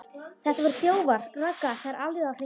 Þetta voru þjófar, Ragga, það er alveg á hreinu.